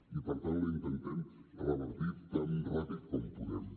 i per tant la intentem revertir tan ràpid com podem